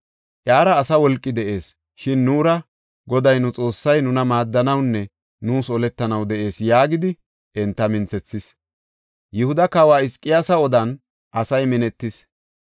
Iyara asa wolqi de7ees; shin nuura Goday nu Xoossay nuna maaddanawunne nuus oletanaw de7ees” yaagidi enta minthethis. Yihuda kawoy Hizqiyaasi odan asay minetis.